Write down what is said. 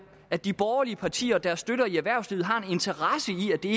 at de borgerlige partier og deres støtter i erhvervslivet har en interesse i at det